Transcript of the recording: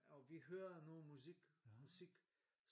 Og vi hører noget musik musik